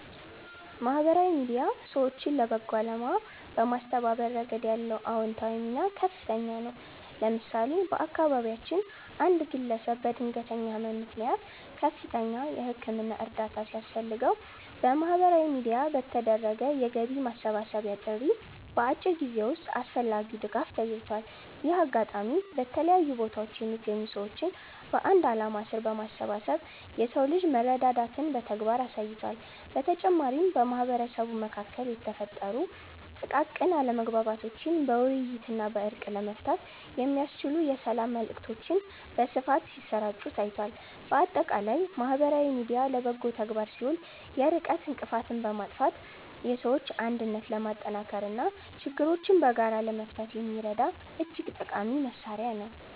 ማህበራዊ ሚዲያ ሰዎችን ለበጎ አላማ በማስተባበር ረገድ ያለው አዎንታዊ ሚና ከፍተኛ ነው። ለምሳሌ፣ በአካባቢያችን አንድ ግለሰብ በድንገተኛ ህመም ምክንያት ከፍተኛ የህክምና እርዳታ ሲያስፈልገው፣ በማህበራዊ ሚዲያ በተደረገ የገቢ ማሰባሰቢያ ጥሪ በአጭር ጊዜ ውስጥ አስፈላጊው ድጋፍ ተገኝቷል። ይህ አጋጣሚ በተለያዩ ቦታዎች የሚገኙ ሰዎችን በአንድ ዓላማ ስር በማሰባሰብ የሰው ልጅ መረዳዳትን በተግባር አሳይቷል። በተጨማሪም፣ በማህበረሰቡ መካከል የተፈጠሩ ጥቃቅን አለመግባባቶችን በውይይትና በእርቅ ለመፍታት የሚያስችሉ የሰላም መልዕክቶች በስፋት ሲሰራጩ ታይቷል። ባጠቃላይ ማህበራዊ ሚዲያ ለበጎ ተግባር ሲውል የርቀት እንቅፋትን በማጥፋት የሰዎችን አንድነት ለማጠናከርና ችግሮችን በጋራ ለመፍታት የሚረዳ እጅግ ጠቃሚ መሣሪያ ነው።